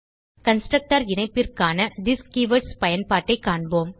constructor இணைப்பிற்கான this keywords பயன்பாட்டைக் காண்போம்